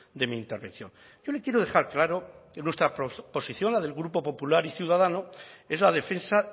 de mi intervención yo le quiero dejar claro nuestra posición la del grupo popular y ciudadanos es la defensa